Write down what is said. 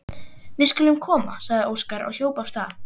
Við skulum koma, sagði Óskar og hljóp af stað.